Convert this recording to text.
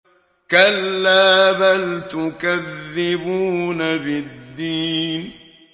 كَلَّا بَلْ تُكَذِّبُونَ بِالدِّينِ